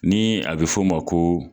Ni a bɛ fɔ o ma ko